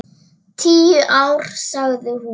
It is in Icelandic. Tíu ár, sagði hún.